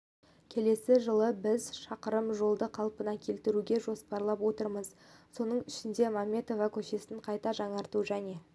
келесі жылы біз шақырым жолды қалпына келтіруді жоспарлап отырмыз соның ішінде мәметова көшесін қайта жаңарту және